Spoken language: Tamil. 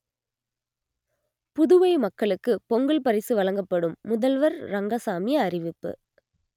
புதுவை மக்களுக்கு பொங்கல் பரிசு வழங்கப்படும் முதல்வர் ரெங்கசாமி அறிவிப்பு